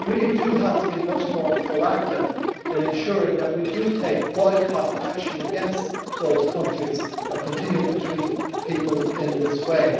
We really do have to be much more proactive in ensuring that we take boycott action against those countries that continue to treat people in this way.